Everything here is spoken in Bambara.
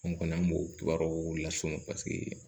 An kɔni an b'o kibaruw lason paseke